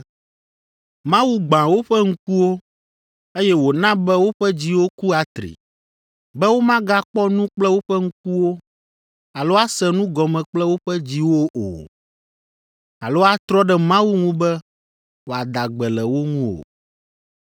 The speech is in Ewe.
“Mawu gbã woƒe ŋkuwo, eye wòna be woƒe dziwo ku atri, be womagakpɔ nu kple woƒe ŋkuwo, alo ase nu gɔme kple woƒe dziwo o, alo atrɔ ɖe Mawu ŋu be wòada gbe le wo ŋu o.”